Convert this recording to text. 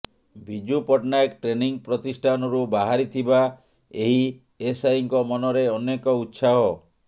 Biju Patnaik training ପ୍ରତିଷ୍ଠାନରୁ ବାହାରିଥିବା ଏହି ଏସଆଇଙ୍କ ମନରେ ଅନେକ ଉତ୍ସାହ